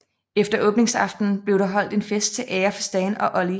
Efter åbningsaftenen bliver der holdt en fest til ære for Stan og Ollie